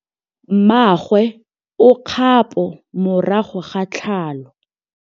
Mmagwe o kgapô morago ga tlhalô.